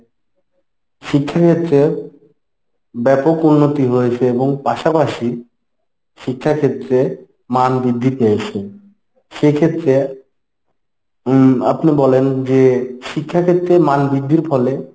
শিক্ষাক্ষেত্রে ব্যাপক উন্নতি হয়েছে এবং পাশাপাশি শিক্ষাক্ষেত্রে মান বৃদ্ধি পেয়েছে। সেক্ষেত্রে উম আপনে বলেন যে শিক্ষাক্ষেত্রে মান বৃদ্ধির ফলে